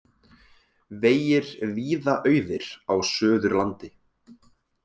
Vegir víða auðir á Suðurlandi